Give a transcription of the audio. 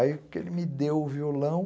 Aí que ele me deu o violão.